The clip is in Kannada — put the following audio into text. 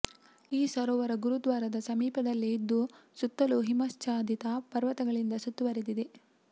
ಈ ಸರೋವರ ಗುರುದ್ವಾರದ ಸಮೀಪದಲ್ಲೆ ಇದ್ದು ಸುತ್ತಲೂ ಹಿಮಚ್ಛಾದಿತ ಪರ್ವತಗಳಿಂದ ಸುತ್ತುವರೆದಿದೆ